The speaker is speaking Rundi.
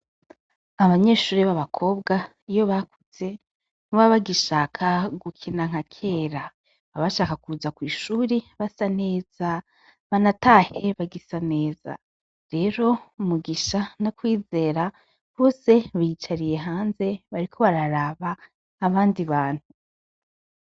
Abanyeshuri baba kobwa iyo bakuze ntibaba bagishaka gukina nka kera baba bashaka kuza kw'ishuri basa neza banatahe bagisa neza rero Mugisha na Kwizera bose biyicariye hanze bariko bararaba abandi bantu.